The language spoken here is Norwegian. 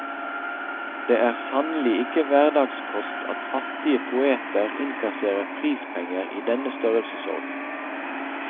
Det er sannelig ikke hverdagskost at fattige poeter innkasserer prispenger i denne størrelsesorden.